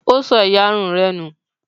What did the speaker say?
Ó sọ ìyarun rẹ nù?